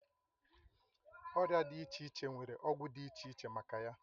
Ọrịa dị iche iche nwere ọgwụ dị iche iche maka ya